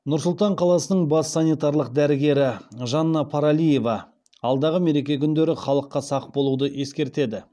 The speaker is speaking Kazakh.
нұр сұлтан қаласының бас санитарлық дәрігері жанна паралиева алдағы мереке күндері халыққа сақ болуды ескертеді